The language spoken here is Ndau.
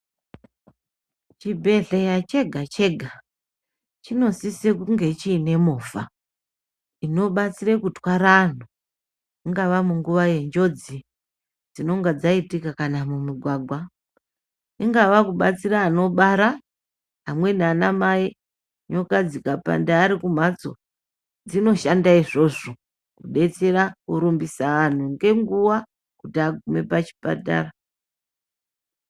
Chibhehleya chegachega chinosise kunge chiine movha inobatsire kutwara anhu ingava munguva yenjodzi dzinonga dzaitika kanamumigwagwa ingava kubatsira anobara ,amweni anamai nyoka dzikapanada ari kumhatso dzinoshanda izvozvo ,kudetsera kurumbisa anhu ngenguwa kuti agaume pachipatara.